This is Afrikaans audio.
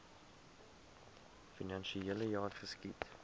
finansiele jaar geskied